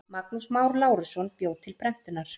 Magnús Már Lárusson bjó til prentunar.